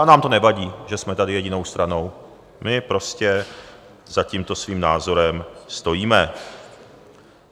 A nám to nevadí, že jsme tady jedinou stranou, my prostě za tímto svým názorem stojíme.